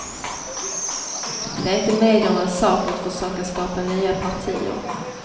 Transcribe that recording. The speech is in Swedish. Det är inte mediernas sak att försöka skapa nya partier.